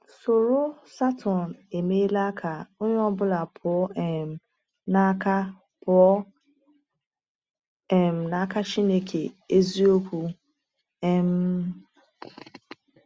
Ṣụ̀rọ̀ Satọn emeela ka onye ọ bụla pụọ um n’aka pụọ um n’aka Chineke eziokwu? um